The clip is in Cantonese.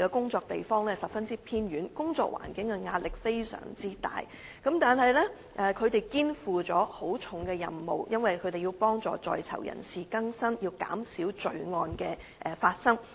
的工作地點十分偏遠，工作環境壓力很大，但卻肩負極沉重的任務，因為他們要協助在囚人士更生，減少罪案發生。